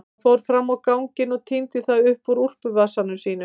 Hann fór fram á ganginn og tíndi það upp úr úlpuvasanum sínum.